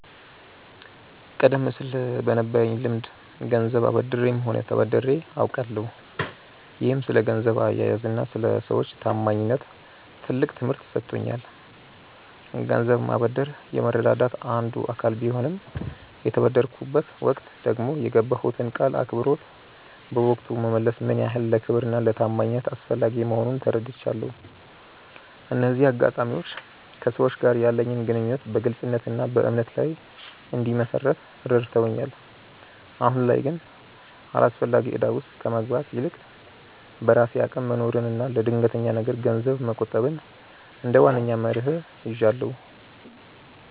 ቀደም ሲል በነበረኝ ልምድ ገንዘብ አበድሬም ሆነ ተበድሬ አውቃለሁ፤ ይህም ስለ ገንዘብ አያያዝና ስለ ሰዎች ታማኝነት ትልቅ ትምህርት ሰጥቶኛል። ገንዘብ ማበደር የመረዳዳት አንዱ አካል ቢሆንም፣ በተበደርኩበት ወቅት ደግሞ የገባሁትን ቃል አክብሮ በወቅቱ መመለስ ምን ያህል ለክብርና ለታማኝነት አስፈላጊ መሆኑን ተረድቻለሁ። እነዚህ አጋጣሚዎች ከሰዎች ጋር ያለኝን ግንኙነት በግልጽነትና በእምነት ላይ እንድመሰርት ረድተውኛል። አሁን ላይ ግን አላስፈላጊ እዳ ውስጥ ከመግባት ይልቅ፣ በራሴ አቅም መኖርንና ለድንገተኛ ነገር ገንዘብ መቆጠብን እንደ ዋነኛ መርህ ይዣለሁ።